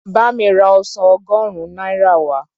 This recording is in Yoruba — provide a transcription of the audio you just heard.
Bá mi ra ọsàn ọgọ́rùn-ún náírà wá.